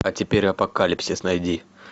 а теперь апокалипсис найди